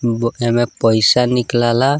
ब एमे पईसा निकले ला।